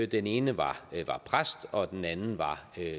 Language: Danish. den ene var præst og den anden